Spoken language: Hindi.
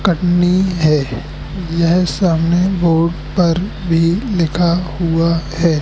कटनी है यह सामने बोर्ड पर भी लिखा हुआ है।